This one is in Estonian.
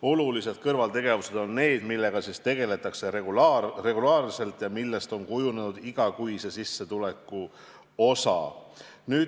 Olulised kõrvaltegevused on need, millega tegeletakse regulaarselt ja millest on kujunenud igakuise sissetuleku osa.